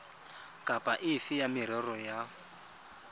kapa efe ya merero ya